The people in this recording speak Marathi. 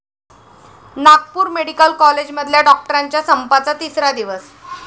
नागपूर मेडिकल कॉलेजमधल्या डॉक्टरांच्या संपाचा तिसरा दिवस